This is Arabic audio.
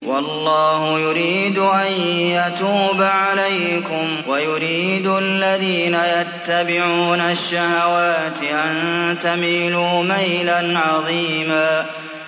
وَاللَّهُ يُرِيدُ أَن يَتُوبَ عَلَيْكُمْ وَيُرِيدُ الَّذِينَ يَتَّبِعُونَ الشَّهَوَاتِ أَن تَمِيلُوا مَيْلًا عَظِيمًا